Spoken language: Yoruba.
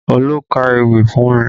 Olú ka ewì fún mi